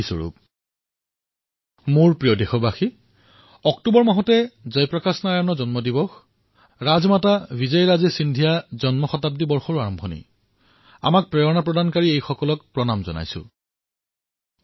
মোৰ মৰমৰ দেশবাসীসকলস অক্টোবৰ মাহ হওক জয় প্ৰকাশ নাৰায়ণ জীৰ জন্মজয়ন্তী হওক ৰাজমাতা বিজয়াৰাজে সিন্ধিয়াজীৰ জন্ম শতাব্দী প্ৰাৰম্ভ হোৱা হওক এই সকলো মহাপুৰুষে আমাক প্ৰেৰণা দিয়ে আৰু আমি তেওঁলোকক সেৱা জনাইছোঁ